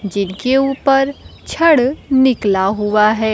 जिनके ऊपर छड़ निकला हुआ है।